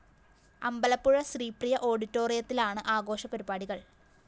അമ്പലപ്പുഴ ശ്രീപ്രിയ ഓഡിറ്റോറിയത്തിലാണ് ആഘോഷ പരിപാടികള്‍